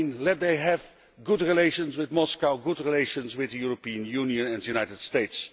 Let them have good relations with Moscow, good relations with the European Union and the United States.